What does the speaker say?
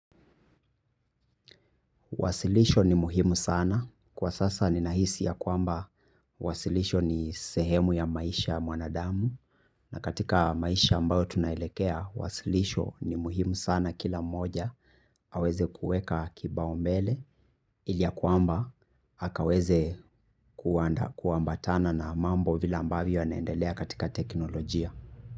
Wasilisho ni muhimu sana kwa sasa ni nahisi ya kwamba wasilisho ni sehemu ya maisha mwanadamu na katika maisha ambayo tunaelekea wasilisho ni muhimu sana kila mmoja aweze kueka kibao mbele ili ya kwamba hakaweze kuamba tana na mambo vile ambayo yanaendelea katika teknolojia.